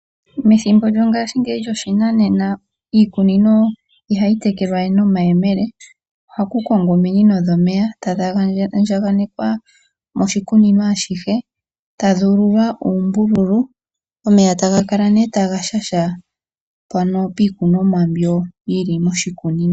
Methimbo lyo ngaashingeyi lyoshinanena iikunino ihayi tekelwa we nomayemele, ohaku kongwa ominino dhomeya tadhi andjaganekwa moshikunino ashihe tadhi ululwa uumbululu omeya taga kale nee taga shasha mpono piikunomwa mbyo yili moshikunino.